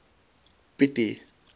pieti